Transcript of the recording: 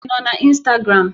Ị nọ na Instagram?